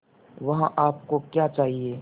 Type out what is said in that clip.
वहाँ आप को क्या चाहिए